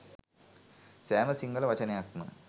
සෑම සිංහල වචනයක්ම